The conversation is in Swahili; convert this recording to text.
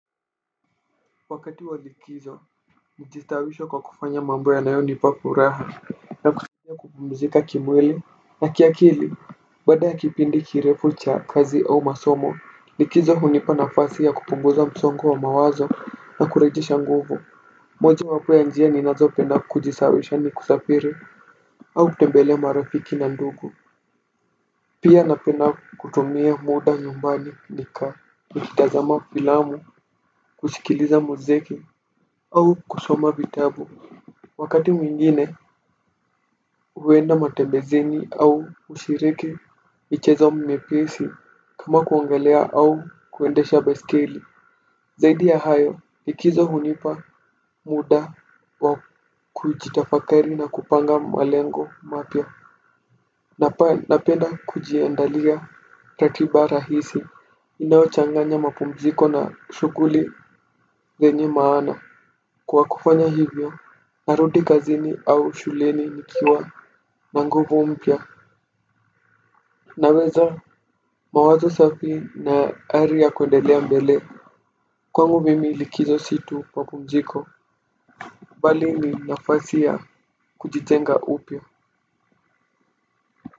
Wakati wa likizo nijistawisha kwa kufanya mambo yanayonipa furaha na kusaidia kupumzika kimwili na kiakili. Baada ya kipindi kirefu cha kazi au masomo likizo hunipa nafasi ya kupunguza msongo wa mawazo na kurejesha nguvu. Mojawapo ya njia ninazopenda kujisawawisha ni kusafiri au kutembelea marafiki na ndugu. Pia napenda kutumia muda nyumbani ni ka nikitazama filamu kusikiliza mziki au kusoma vitabu. Wakati mwingine huenda matembezini au hushiriki michezo miepesi kama kuongelea au kuendesha baiskeli. Zaidi ya hayo likizo hunipa muda wa kujitafakari na kupanga malengo mapya na pa napenda kujiandalia ratiba rahisi inayochanganya mapumziko na shughuli zenye maana. Kwa kufanya hivyo, narudi kazini au shuleni nikiwa na nguvu mpya na uweza, mawazo safi na ari ya kwendelea mbele. Kwangu mimi likizo si tu mapumziko bali ni nafasi ya kujitenga upya.